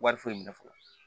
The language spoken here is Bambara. Wari foyi minɛ fɔlɔ